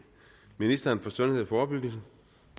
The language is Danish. ministeren for sundhed og forebyggelse